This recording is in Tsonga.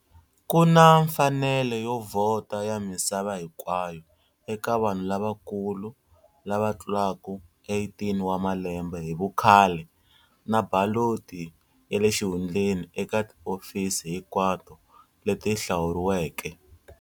Ku na mfanelo yo vhota ya misava hinkwayo eka vanhu lavakulu lava tlulaka 18 wa malembe hi vukhale, na baloti ya le xihundleni eka tihofisi hinkwato leti hlawuriweke.